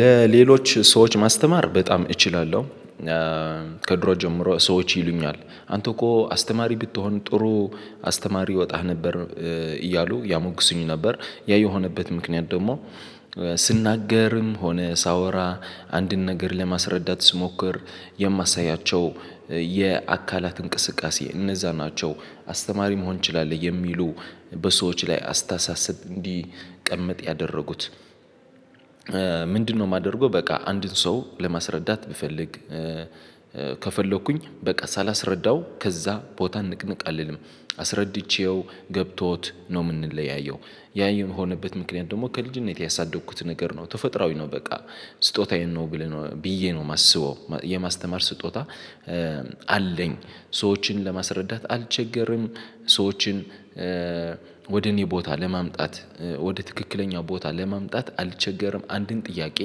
ለሌሎች ሰዎች ማስተማር በጣም እችላለሁ። ከድሮ ጀምሮ ሰዎች ይሉኛል አንተ እኮ አስተማሪ ብትሆን ጥሩ አስተማሪ ይወጣህ ነበር። እያሉ ያሞግስኝ ነበር ያ የሆነበት ምክንያት ደግሞ ስናገርም ሆነ ሳወራ አንድን ነገር ለማስረዳት ስሞክር የማሳያቸው የአካላት እንቅስቃሴ እነዛ ናቸው። አስተማሪ መሆን ትችላለህ የሚሉ በሰዎች ላይ አስታሳሰብ እንዲቀመጥ ያደረጉት? ምንድነው የማደርገው በቃ አንድን ሰው ለማስረዳት ብፈልግ ከፈለኩኝ በቃ ሳላስረዳው ከዛ ቦታ ንቅንቅ አልልም አስረድቼው ገብቶት ነው የምንለያየው። ያ የሆነበት ምክንያት ደግሞ ከልጅነቴ ያሳደግኩት ነገር ነው ተፈጥሮአዊ ነው በቃ ስጦታዬን ነው ብለህ ብዬ ነው የማስበው። የማስተማር ስጦታ አለኝ ሰዎችን ለማስረዳት አልቸገርም። ሰዎችን ወደ እኔ ቦታ ለማምጣት ወደ ትክክለኛው ቦታ ለማምጣት አልቸገርም አንድን ጥያቄ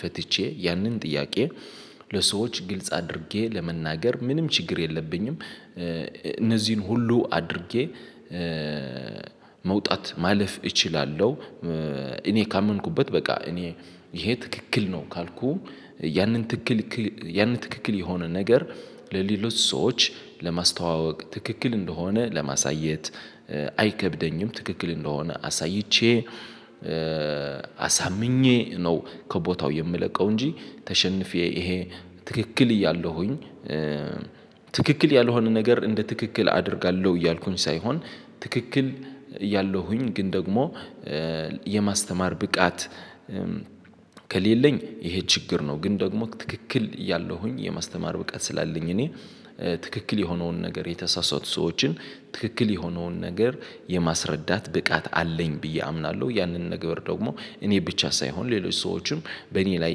ፈትቼ ያንን ጥያቄ ለሰዎች ግልጽ አድርጌ ለመናገር ምንም ችግር የለብኝም። እነዚህን ሁሉ አድርጌ መውጣት ማለፍ እችላለሁ። እኔ ካመንኩበት በቃ እኔ ይሄ ትክክል ነው ካልኩ ያንን ትክክል ያሆነ ነገር ትክክል የሆነ ነገር ለሌሎች ሰዎች ለማስተዋወቅ ትክክል እንደሆነ ለማሳየት አይከብደኝም። ትክክል እንደሆነ አሳይቼ አሳምኜ ነው ከቦታው የምለቀው እንጂ ተሸንፌ ይሄ ትክክል እያለሁኝ ትክክል ያልሆነ ነገር እንደ ትክክል አደርጋለሁ እያልኩኝ ሳይሆን ትክክል ያለሁኝ ግን ደግሞ የማስተማር ብቃት ከሌለኝ ይሄ ችግር ነው። ግን ደግሞ ትክክል እያለሁኝ የማስተማር ብቃት ስላለኝ እኔ ትክክል የሆነውን ነገር የተሳሳቱ ሰዎችን ትክክል የሆነውን ነገር የማስረዳት ብቃት አለኝ ብዬ አምናለሁ። ያንን ነገር ደግሞ እኔ ብቻ ሳይሆን ሌሎች ሰዎችም በእኔ ላይ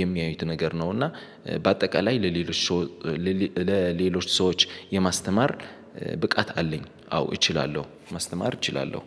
የሚያዩት ነገር ነው እና በአጠቃላይ ለሌሎች ሰዎች ለሌሎች ሰዎች የማስተማር ብቃት አለኝ አዎ እችላለሁ ማስተማር እችላለሁ።